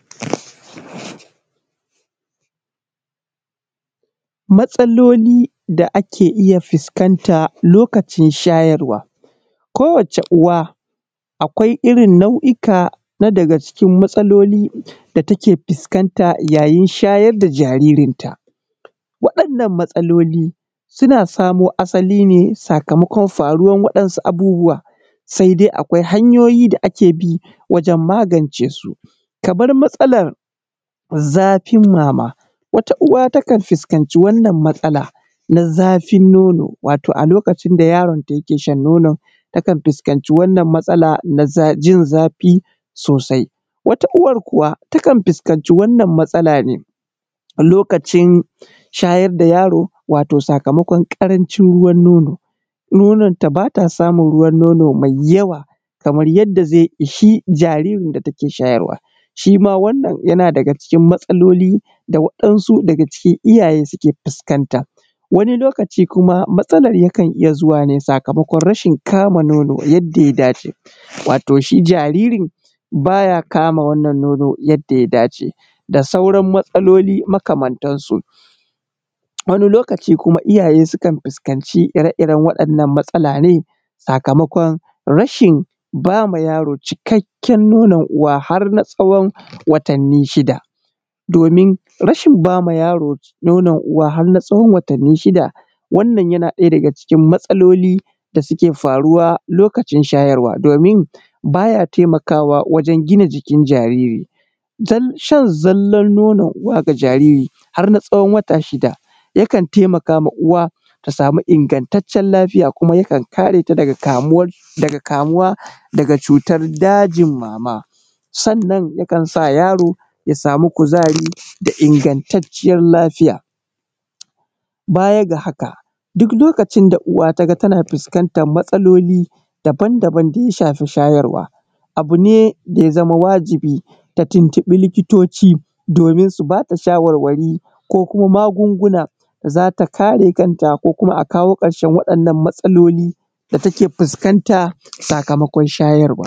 Matsaloli da ake iya fuskanta lokavin shayarwa kowacce uwa akwai irkn nau'ikan na daga cikin matsalolin da take fuskantar a yayin shayar da jaririta ana samo asali ne sakamakon abubuwan sai dai akwai hanyoyi da ake bi wajen magance su. Kabar matsalar zafin mama. Wata uwa takan fuskanci wannan matsala na zafin nono. Wato a lokacin da yarinta yake sha wannan nono takan fuskanci matsala na jin zafi sosai .Wata uwar kuwa takan fuskanci wannan matsala ne waje shayar da yaro sakamakon ƙarancin ruwan nono, nononta ba ta samun ruwan nonon mai yawa da zai ishi jaririnta yake shayarwa, shi ma wannan yana daga cikin matsaloli da iyaye suke fuskanta. Wani lokaci kuma waɗansu ɗaga cikin iyaye suke fuskanta wani lokaci kuma matsalar yakan iya zuwa ne sakamakon rashi kama nono yadda ya dace sakamakon jaririn ba ya kama wannan nonon yadda ya dace da sauran matsaloli makamantansu. Wani lokaci kuma iyaye sukan fuskaci ire-iren wannan matsala ne sakamako rashin ba ma yaro cikakken nonon uwa harb na tsawon watanni shida. Rashin ba ma yaro nonon uwa har na tsawon watanni shida. Wannan yana ɗaya daga cikin matsalolin da suske faruwa baya taimakawa wajen gina jikin jariri. Shan zallar nonon uwa ga jariri har na tsawon wata shida yana taimakawa uwa ta sama ingantaccen lafiya da yakan kare ta daga kamuwa daga cutar dajin mama. Sannan yakan sa yaro ya samu kuzari da intacciyar lafiya. Baya ga haka duk lokavi da uwa taga tana fukantar matsaloli daban-daban da ya shafi shayarwa abu ne da ya zama wajibi ta tuntubi likitoci domin su ba ta shawari ko kuma magunguna za ta karev kanta ko kuma a kawo ƙarshen matsaloli da take fuskanta sakamakon shayarwa.